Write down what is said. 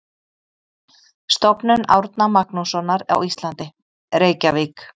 Stofnun Árna Magnússonar á Íslandi: Reykjavík.